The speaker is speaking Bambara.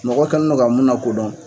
Mɔgɔ kɛ nin nɔ ka mun lakodɔn.